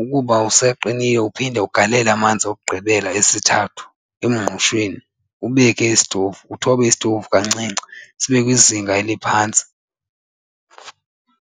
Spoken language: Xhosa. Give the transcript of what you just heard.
ukuba usaqinile uphinde ugalele amanzi okugqibela esithathu emngqushweni ubeke isitovu. Uthobe isitovu kancinci sibe kwizinga eliphantsi.